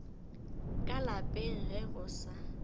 ka lapeng ge go sa